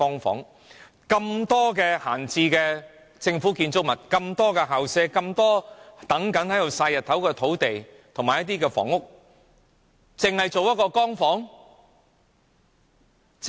這麼多閒置的政府建築物、這麼多校舍、這麼多在"曬日光"的土地及空置房屋，竟然只營運一個"光屋"？